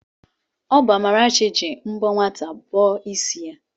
Ọ bụ Amarachi ji mbọ nwata bọọ ịsị ya.